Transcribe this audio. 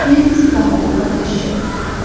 ये किसी पहाड़ों का दृश्य लगता है।